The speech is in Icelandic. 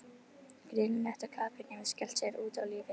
Greinilegt að kappinn hefur skellt sér út á lífið.